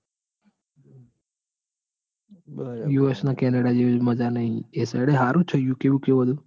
US અને Canada જેવું મજા નઈ. એ સાઈડ હારું જ યુકે યુકે. હમ